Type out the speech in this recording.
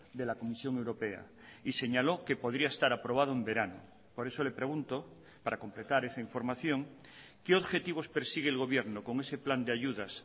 de la comisión europea y señaló que podría estar aprobado en verano por eso le pregunto para completar esa información qué objetivos persigue el gobierno con ese plan de ayudas